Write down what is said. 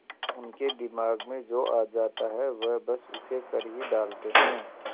उनके दिमाग में जो आ जाता है वह बस उसे कर ही डालते हैं